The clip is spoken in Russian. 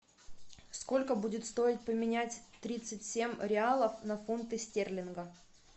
сколько будет стоить поменять тридцать семь реалов на фунты стерлинга